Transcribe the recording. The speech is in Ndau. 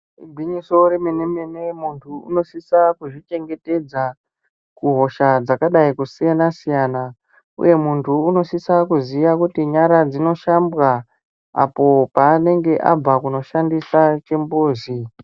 Igwinyiso remenemene munthu unosisa kuzvichengetedza kuhosha dzakadai kusiyana siyana uye munthu unosisa kuziya kuti nyara dzinoshambwa apo paanenge abva kunoshandisa chimbuzi.